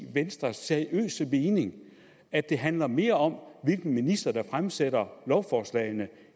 seriøse mening at det handler mere om hvilken minister der fremsætter lovforslagene